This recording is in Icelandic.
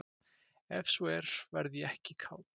ef svo er verð ég ekki kát